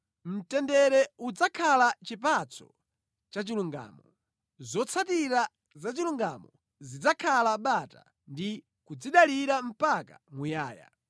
Mtendere udzakhala chipatso chachilungamo; zotsatira za chilungamo zidzakhala bata ndi kudzidalira mpaka muyaya.